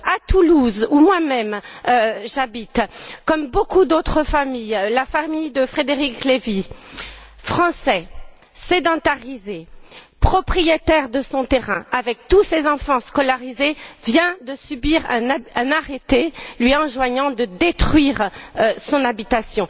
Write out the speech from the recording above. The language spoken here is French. À Toulouse, où moi même j'habite, comme beaucoup d'autres familles, la famille de Frédéric Levy, français, sédentarisé, propriétaire de son terrain, avec tous ses enfants scolarisés, vient de faire l'objet d'un arrêté lui enjoignant de détruire son habitation.